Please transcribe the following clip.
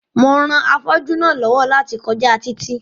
Mo ran afọ́jú náà lọ́wọ́ láti kọjá títì